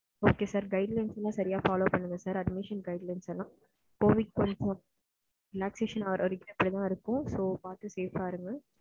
Okay sir guidelines எல்லாம் சரியா follow பண்ணுங்க சார் admission guidelines எல்லாம் covid relactation ஆகுற வர அப்படி தான் இருக்கும் safe அ இருங்க.